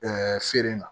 feere la